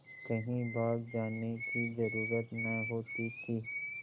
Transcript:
कहीं भाग जाने की जरुरत न होती थी